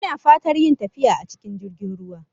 Ina fatar yin tafiya a cikin jirgin ruwa